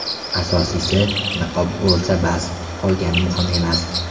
Asosiysi, niqob bo‘lsa bas, qolgani muhim emas.